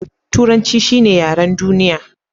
Turanci shi ne yaren duniya.